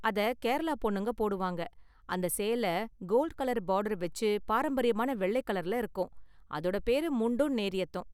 அதை கேரளா பொண்ணுங்க போடுவாங்க, அந்த சேலை கோல்ட் கலர் பார்டர் வெச்சு பாரம்பரியமான வெள்ளை கலர்ல இருக்கும், அதோட பேரு முண்டும் நேரியத்தும்.